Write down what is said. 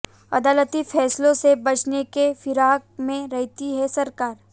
अदालती फैसलों से बचने की फिराक में रहती है सरकार